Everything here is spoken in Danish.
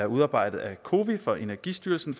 udarbejdet af cowi for energistyrelsen